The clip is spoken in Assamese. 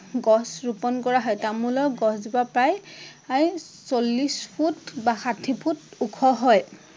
গছ ৰোপণ কৰা হয়। তামোলৰ গছ জোপা প্ৰায় চল্লিশ ফুট বা ষাঠী ফুট ওখ হয়।